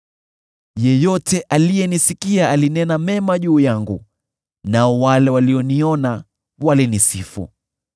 Yeyote aliyenisikia alinena mema juu yangu, nao walioniona walinisifu,